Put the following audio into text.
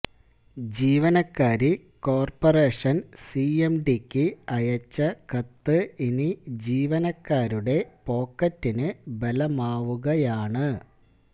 ജീവനക്കാരി corporation സിഎംഡിക്ക് അയച്ച കത്ത് ഇനി ജീവനക്കാരുടെ പോക്കറ്റിന് ബലമാവുകയാണ്